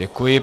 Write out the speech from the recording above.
Děkuji.